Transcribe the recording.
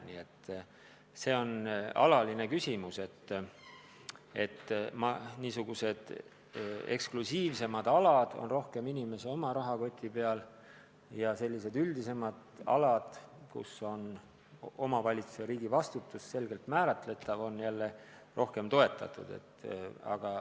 Nii et see on alatine küsimus, et niisugused eksklusiivsemad alad toetuvad rohkem inimese oma rahakotile ja üldisemad alad, mille puhul on omavalitsuse ja riigi vastutus selgelt määratletav, saavad rohkem toetust.